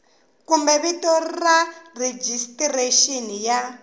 kumbe vito ra rejistrexini ya